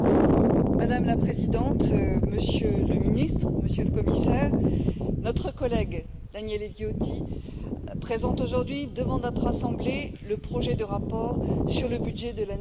Madame la Présidente, Monsieur le Ministre, Monsieur le Commissaire, notre collègue Daniele Viotti présente aujourd'hui devant notre assemblée, le projet de rapport sur le budget de l'année